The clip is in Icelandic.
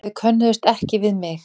Þau könnuðust ekki við mig.